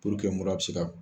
mura be se ka